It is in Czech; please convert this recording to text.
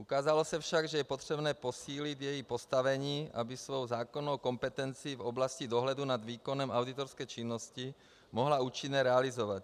Ukázalo se však, že je potřebné posílit její postavení, aby svou zákonnou kompetenci v oblasti dohledu nad výkonem auditorské činnosti mohla účinně realizovat.